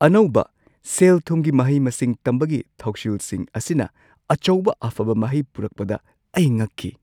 ꯑꯅꯧꯕ ꯁꯦꯜ-ꯊꯨꯝꯒꯤ ꯃꯍꯩ-ꯃꯁꯤꯡ ꯇꯝꯕꯒꯤ ꯊꯧꯁꯤꯜꯁꯤꯡ ꯑꯁꯤꯅ ꯑꯆꯧꯕ ꯑꯐꯕ ꯃꯍꯩ ꯄꯨꯔꯛꯄꯗ ꯑꯩ ꯉꯛꯈꯤ ꯫